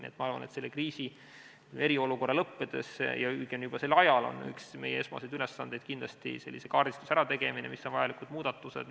Nii et ma arvan, et selle kriisi, eriolukorra lõppedes ja õigemini juba selle ajal on üks meie esmaseid ülesandeid kaardistuse tegemine, mis on vajalikud muudatused.